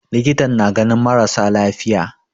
Likitan na ganin mara sa lafiya.